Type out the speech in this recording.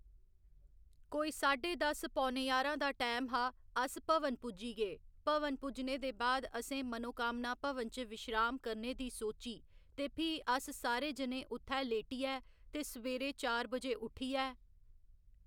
कोई साढे दस्स पौने ञारां दा टाईम हा अस भवन पुज्जी गे भवन पुज्जने दे बाद असें मनोकामना भवन च विश्राम करने दी सोची ते फ्ही अस सारे जने उत्थै लेटियै ते सवेरे चार बजे उट्ठियै